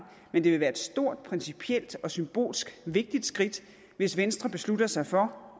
men det ville være et stort principielt og symbolsk vigtigt skridt hvis venstre beslutter sig for